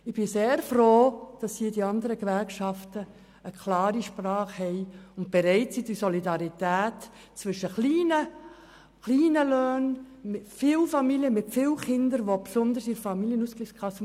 Ich bin sehr froh, dass die anderen Gewerkschaften zu dieser Massnahme eine klare Sprache sprechen und bereit sind, die Solidarität zwischen kleinen Löhnen, Familien mit vielen Kindern und den anderen Kassen zu gewährleisten.